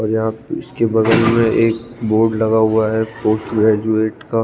और यहा इसके बगल में एक बोर्ड लगा हुआ है पोस्ट ग्रेजुएट का--